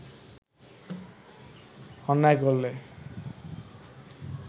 অন্যায় করলে